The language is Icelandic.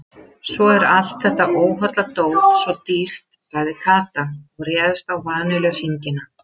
Svo er allt þetta óholla dót svo dýrt sagði Kata og réðst á vanilluhringina.